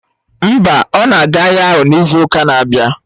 Mba, ọ na-aga ahịa ahụ n'izu ụka na-abịa